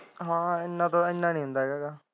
ਹਾਂ ਇਹਨਾਂ ਤਾ ਇਹਨਾਂ ਤਾ ਨਹੀਂ ਹੁੰਦਾ ਹੈਗਾ।